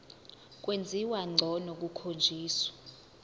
kwenziwa ngcono kukhonjiswa